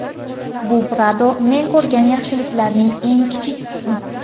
Bu Prado men ko‘rgan yaxshiliklarning eng kichik qismi.